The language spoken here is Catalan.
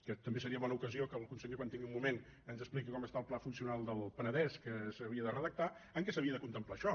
que també seria bona ocasió que el conseller quan tingui un moment ens expliqui com està el pla funcional del penedès que s’havia de redactar en què s’havia de contemplar això